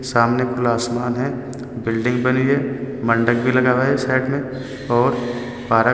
सामने खुला आसमान है बिल्डिंग बनी है मंडप भी लगा हुआ है साइड में और पार्क --